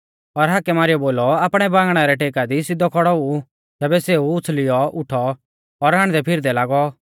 और हाकै मारीयौ बोलौ आपणै बांगणै रै टेका दी सिधौ खौड़ौ ऊ तैबै सेऊ उछ़ल़ीऔ उठौ और हांडदैफिरदै लागौ